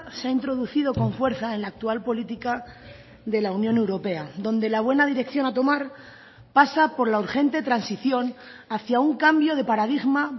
se ha introducido con fuerza en la actual política de la unión europea donde la buena dirección a tomar pasa por la urgente transición hacia un cambio de paradigma